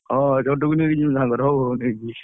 ହଁ ଛୋଟୁକୁ ନେଇକି ଯିବି ସାଙ୍ଗରେ, ହଉ, ହଉ, ନେଇକି ଯିବି।